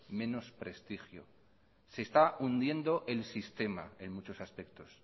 menos prestigio se está hundiendo el sistema en muchos aspectos